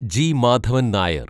G Madhavan Nair